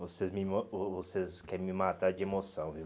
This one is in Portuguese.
Vocês querem me vocês quer matar de emoção, viu?